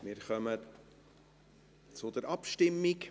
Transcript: Wir kommen zur Abstimmung.